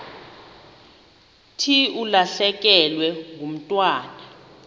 thi ulahlekelwe ngumntwana